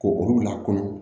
Ko olu la kɔnɔ